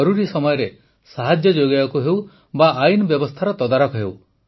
ଜରୁରୀ ସମୟରେ ସାହାଯ୍ୟ ଯୋଗାଇବାକୁ ହେଉ ବା ଆଇନ ବ୍ୟବସ୍ଥାର ତଦାରଖ ହେଉ